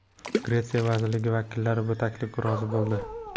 Gretsiya vazirligi vakillari bu taklifga rozi bo‘ldi.